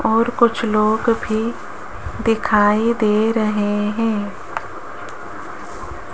और कुछ लोग भी दिखाई दे रहे हैं।